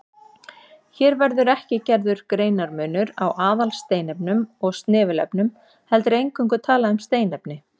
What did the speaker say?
Hér verður ekki gerður greinarmunur á aðalsteinefnum og snefilefnum heldur eingöngu talað um steinefni.